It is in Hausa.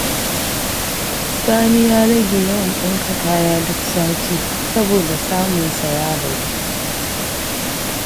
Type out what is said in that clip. Sani ya rage yawan ɗinka kaya duk sati, saboda samunsa ya ragu.